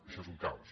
això és un caos